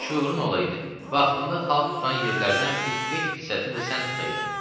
Şuurun olaydı, vaxtında xalq tutan yerlərdən bir beş tisətin də sən tutaydın.